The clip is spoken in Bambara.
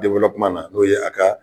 na n'o ye a ka